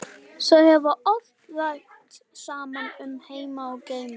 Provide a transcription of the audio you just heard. Þau hafa oft rætt saman um heima og geima.